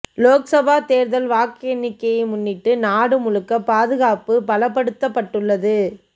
லோக்சபா தேர்தல் வாக்கு எண்ணிக்கையை முன்னிட்டு நாடு முழுக்க பாதுகாப்பு பலப்படுத்தப்பட்டுள்ளது